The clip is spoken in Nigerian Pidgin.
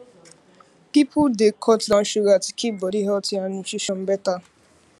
people dey cut down sugar to keep body healthy and nutrition better